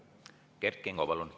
Kert Kingo, palun!